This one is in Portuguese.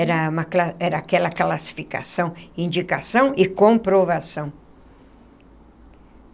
Era uma cla era aquela classificação, indicação e comprovação.